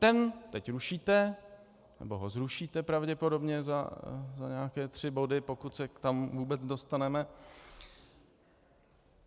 Ten teď rušíte, nebo ho zrušíte pravděpodobně za nějaké tři body, pokud se tam vůbec dostaneme.